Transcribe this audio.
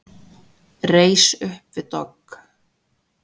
Reis upp við dogg.